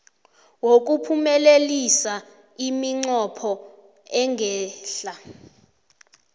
wokuphumelelisa iminqopho engehla